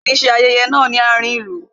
A ní ṣe ayẹyẹ náà ní àárín ìlú